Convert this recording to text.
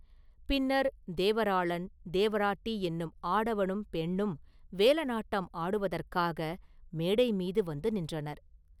பின்னர், ‘தேவராளன்’, ‘தேவராட்டி’ என்னும் ஆடவனும் பெண்ணும் வேலனாட்டம் ஆடுவதற்காக மேடை மீது வந்து நின்றனர்.